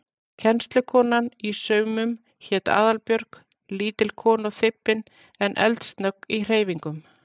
Kennslukonan í saumum hét Aðalbjörg, lítil kona og þybbin en eldsnögg í hreyfingum.